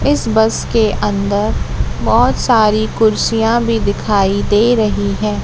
इस बस के अंदर बहुत सारी कुर्सियां भी दिखाई दे रही है।